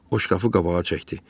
O şkafı qabağa çəkdi.